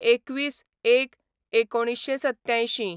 २१/०१/१९८७